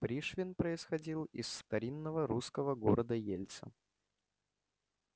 пришвин происходил из старинного русского города ельца